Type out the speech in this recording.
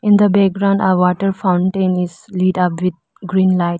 In the background a water fountain is lit up with green light.